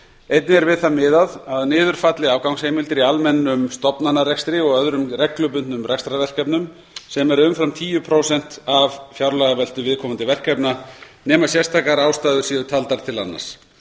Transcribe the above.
einnig er við það miðað að niður falli afgangsheimildir í almennum stofnanarekstri og öðrum reglubundnum rekstrarverkefnum sem eru umfram tíu prósent af fjárlagaveltu viðkomandi verkefna nema sérstakar ástæður séu taldar til annars